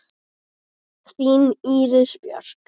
Þín Íris Björk.